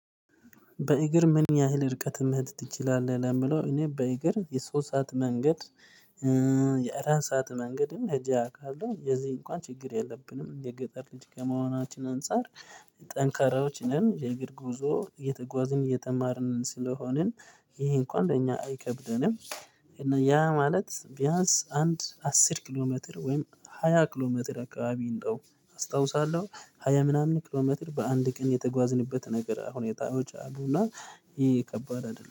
በእግር ምን ያህል ርቀት መሄድ ትችላለህ ለሚለው? እኔ በእግሬ የሶስት ሰዓት መንገድ። የአራት ሰዓት መንገድም ሄጄ አቃለው። የዚህ እንኳን ችግር የለብንም የገጠር ልጅ ከመሆናችን አንፃር ጠንካራዎች ነን። የእግር ጉዞ እየተጓዝን ስለሆነ የተማርነው ስለዚህ ይሄ እንኳን ለኛ አይከብደንም። እና ያ ማለት ቢያንስ አንድ አስር ኪሎ ሜትር ወይም ሃያ ኪሎ ሜትር አካባቢ እንደው አስታውሳለሁ ሃያ ምናምን ኪሎሜትር በአንድ ቀን የተጓዝንበት ነገር ሁኔታዎች አሉና። ይሄ ከባድ አይደለም